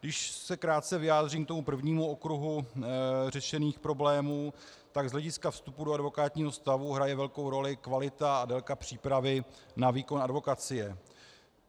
Když se krátce vyjádřím k tomu prvnímu okruhu řešených problémů, tak z hlediska vstupu do advokátního stavu hraje velkou roli kvalita a délka přípravy na výkon advokacie.